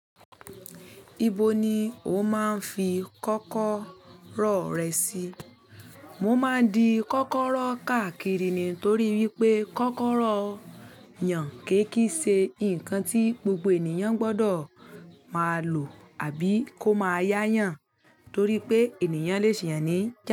Ibo ni o máa ń fi kọ́kọ́rọ́ rẹ sí? Mo máa ń di kọ́kọ́rọ́ káàkiri ní torí wípé kọ́kọ́rọ́ yàn kéékìí ṣe nǹkan tí gbogbo ènìyàn gbọdọ̀ máa lò àbí kó máa yá yàn torí pé ènìyàn lè ṣì yàn níjà.